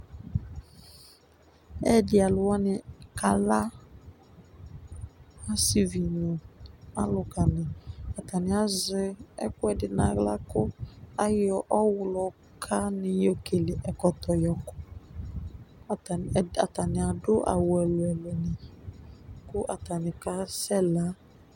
ɛyedialuwani kɑla ɔsivi nu ɑluka ɑtani ɑyekuedi nɑyla ku ɑyo ɔɔhloka yokele ɛkɔto ɑtani ɑdu ɑwu ɛluelue ku ɑtani kɑsela